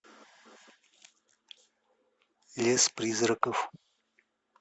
лес призраков